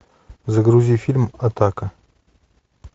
загрузи фильм атака